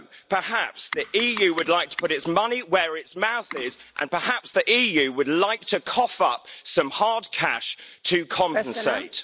Perhaps the EU would like to put its money where its mouth is, and perhaps the EU would like to cough up some hard cash to compensate.